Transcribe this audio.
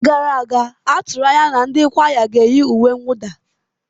N'oge gara aga, a tụrụ anya na ndị kwaya ga-eyi uwe mwụda.